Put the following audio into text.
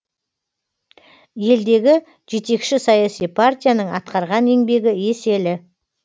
елдегі жетекші саяси партияның атқарған еңбегі еселі